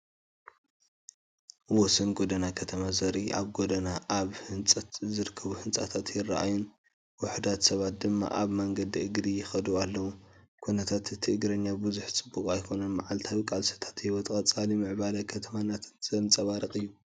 ወሰን ጎደና ከተማ ዘርኢ ኣብ ጎደና ኣብ ህንፀት ዝርከቡ ህንፃታት ይረኣዩን ውሑዳት ሰባት ድማ ኣብ መንገዲ እግሪ ይኸዱ ኣለው። ኩነታት እቲ እግረኛ ብዙሕ ጽቡቕ ኣይኮነን። መዓልታዊ ቃልስታት ህይወትን ቀጻሊ ምዕባለ ከተማን ዘንጸባርቕ እዩ።